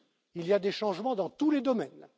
usual Il y a des changements dans tous les domaines.